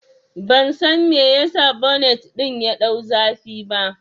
Ban san me yasa bonet ɗin ya ɗau zafi ba